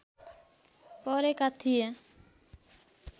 परेका थिए